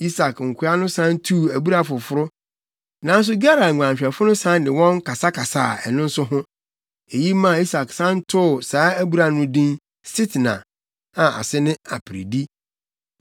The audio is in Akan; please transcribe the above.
Isak nkoa no san tuu abura foforo, nanso Gerar nguanhwɛfo no san ne wɔn kasakasaa ɛno nso so. Eyi maa Isak san too saa abura no nso din Sitna, a ase kyerɛ Aperedi.